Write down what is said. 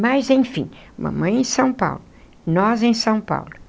Mas enfim, mamãe em São Paulo, nós em São Paulo.